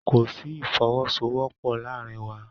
Kò sí Ìfọwọ́sowọ́pọ̀ láàárín wa.